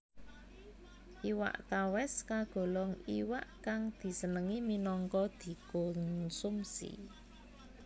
Iwak tawès kagolong iwak kang disenengi minangka dikonsumsi